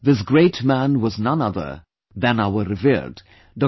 This great man was none other than our revered Dr